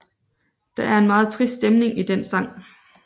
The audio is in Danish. Der er en meget trist stemning i den sang